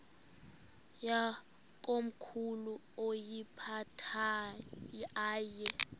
yakomkhulu woyiphatha aye